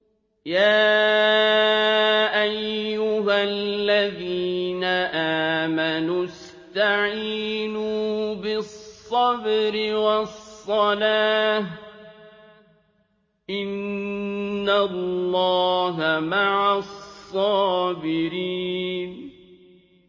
يَا أَيُّهَا الَّذِينَ آمَنُوا اسْتَعِينُوا بِالصَّبْرِ وَالصَّلَاةِ ۚ إِنَّ اللَّهَ مَعَ الصَّابِرِينَ